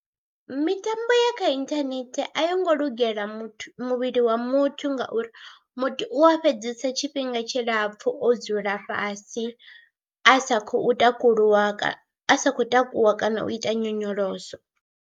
Mitambo ya kha inthanethe a yo ngo lugela muthu muvhili wa muthu ngauri muthu u a fhedzesa tshifhinga tshilapfhu o dzula fhasi a sa khou takuluwa, a sa khou takuwa kana u ita nyonyoloso.